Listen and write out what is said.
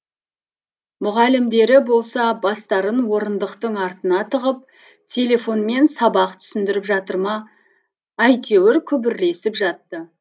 мұғалімдері болса бастарын орындықтың артына тығып телефонмен сабақ түсіндіріп жатыр ма әйтеуір күбірлесіп жатты